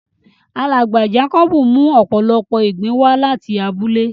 Alágba Jákòbù mú òpòlọ́pọ̀ ìgbìn wà latí àbúlẹ̀.